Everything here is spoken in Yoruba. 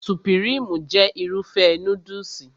Supirimu jẹ́ Irúfẹ́ núdùsì